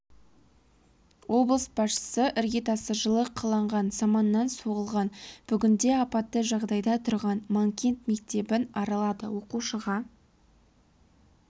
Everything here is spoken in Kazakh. облыс басшысы іргетасы жылы қаланған саманнан соғылған бүгінде апатты жағдайда тұрған манкент мектебін аралады оқушыға